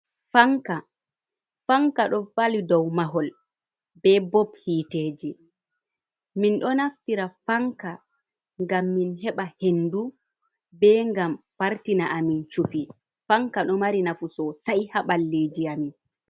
Fanka ɗo fali dow mahol be bob yiiteji. Min ɗo naftira fanka ngam min heɓa hendu.Be ngam fartina a min cufi. Fanka ɗo mari nafu sosay haa ɓalliji a min.